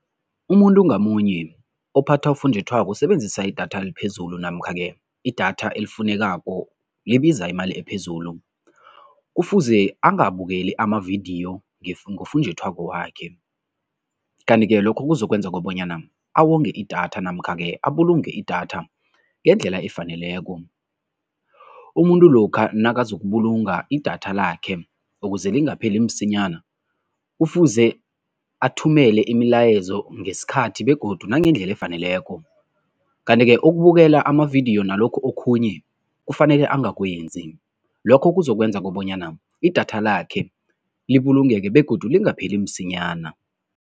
Umuntu ngamunye ophatha ufunjathwako usebenzisa idatha liphezulu namkha-ke idatha elifunekako libiza imali ephezulu, kufuze angabukeli amavidiyo ngofunjathwako wakhe. Kanti-ke lokho kuzokwenza kobanyana awonge idatha namkha-ke abulunge idatha ngendlela efaneleko. Umuntu lokha nakazokubulunga idatha lakhe ukuze lingapheli msinyana, kufuze athumele imilayezo ngesikhathi begodu nangendlela efaneleko kanti-ke ukubukela amavidiyo nalokhu okhunye kufanele angakwenzi, lokho kuzokwenza kobanyana idatha lakhe libulungeke begodu lingapheli msinyana.